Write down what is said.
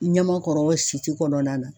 I Niamakɔrɔ Site kɔnɔna na.